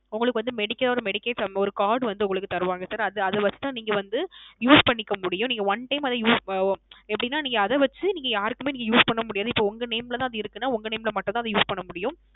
உங்களுக்கு வந்து Medical ஓட Medical ஒரு Card வந்து உங்களுக்கு தருவாங்க Sir அது அதில தான் நீங்க வந்து Use பண்ணிக்க முடியாம் நீங்க One Time Use அஹ் எப்படின வந்து அதை வைத்து யாருக்குமே Use பண்ண முடியாது இப்போ உங்க Name ல அது இருக்கு ன உங்க Name ல மட்டும் தான் Use பண்ண முடியும்